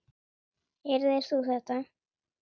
Heyrðir þú þetta?